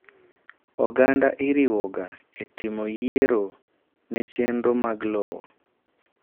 Oganda iriwoga etimo yiero nechenro mag lowo.